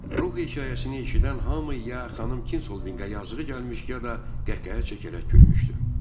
Ruh hekayəsini eşidən hamı ya xanım Kinsoviqə yazığı gəlmiş, ya da qəh-qəhə çəkərək gülmüşdü.